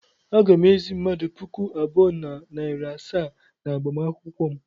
Aga m ezì mmadụ puku abụọ na narị asaa n'agbamakwụkwọ m.